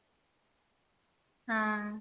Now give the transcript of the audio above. ହଁ